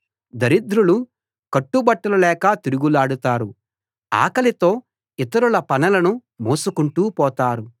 దరిద్రులు కట్టు బట్టలు లేక తిరుగులాడుతారు ఆకలితో ఇతరుల పనలను మోసుకుంటూ పోతారు